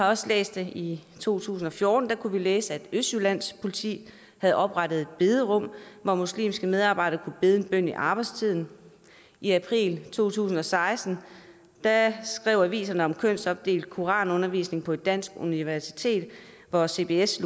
også i to tusind og fjorten læse at østjyllands politi havde oprettet et bederum hvor muslimske medarbejdere kunne bede en bøn i arbejdstiden i april to tusind og seksten skrev aviserne om kønsopdelt koranundervisning på et dansk universitet hvor cbss